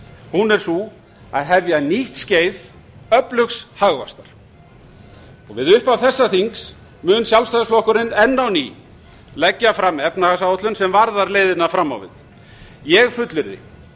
hún er sú að hefja nýtt skeið öflugs hagvaxtar við upphaf þessa þings mun sjálfstæðisflokkurinn enn á ný leggja fram efnahagsáætlun sem varðar leiðina fram á við ég fullyrði